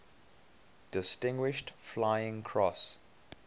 distinguished flying cross